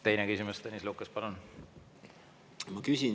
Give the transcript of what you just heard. Teine küsimus, Tõnis Lukas, palun!